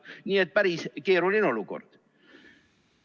Nii et päris keeruline olukord.